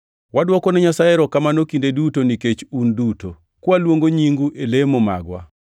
Wadwokone Nyasaye erokamano kinde duto nikech un duto, kwaluongo nyingu e lemo magwa.